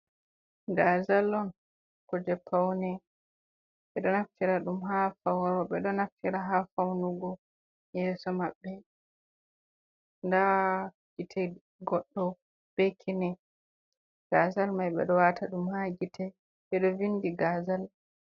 Gaazal on, kuje paune. Ɓe ɗo naftira ɗum haa faw rooɓe ɗo naftira haa faunugo yeeso maɓɓe, nda gite goɗɗo be kine, gazal mai ɓe ɗo waata ɗum haa gite, bedo vindi gazal.